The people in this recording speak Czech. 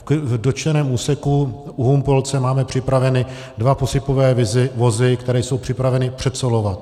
V dotčeném úseku u Humpolce máme připraveny dva posypové vozy, které jsou připraveny předsolovat.